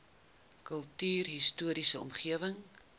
kultuurhis toriese omgewing